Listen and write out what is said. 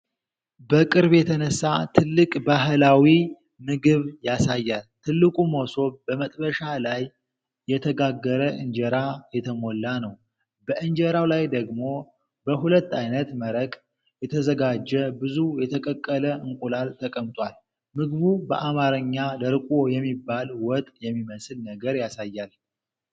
በቅርብ የተነሳ ትልቅ ባህላዊ ምግብ ያሳያል። ትልቁ መሶብ በመጥበሻ ላይ የተጋገረ እንጀራ የተሞላ ነው። በ እንጀራው ላይ ደግሞ በሁለት ዓይነት መረቅ የተዘጋጀ ብዙ የተቀቀለ እንቁላል ተቀምጧል። ምግቡ በአማርኛ "ደርቆ" የሚባል ወጥ የሚመስል ነገር ያሳያል።